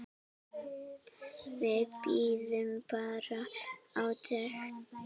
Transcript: Við bíðum bara átekta.